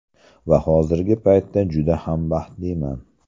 Va hozirgi paytda juda ham baxtliman.